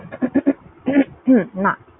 না